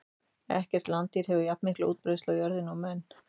Ekkert landdýr hefur jafnmikla útbreiðslu á jörðinni og menn.